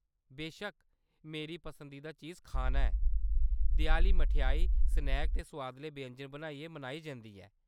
बेशक्क, मेरी पसंदीदा चीज खाना ऐ। देआली मठेआई, स्नैक ते सोआदले व्यंजन बनाइयै मनाई जंदी ऐ।